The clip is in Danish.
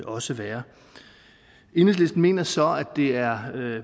også være enhedslisten mener så at det er